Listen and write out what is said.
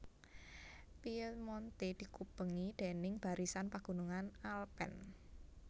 Piemonte dikubengi déning barisan pagunungan Alpen